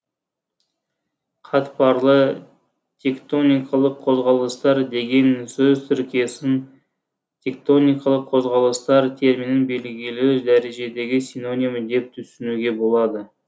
қатпарлы тектоникалық қозғалыстар деген сөз тіркесін тектоникалық қозғалыстар терминінің белгілі дәрежедегі синонимі деп түсінуге болады